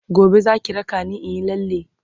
gobe Zaki raka ni inyi lalle?.